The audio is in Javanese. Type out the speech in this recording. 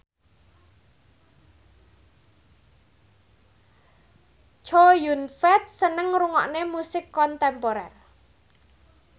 Chow Yun Fat seneng ngrungokne musik kontemporer